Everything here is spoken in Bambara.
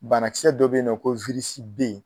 Bana kisɛ dɔ be yen nɔ ko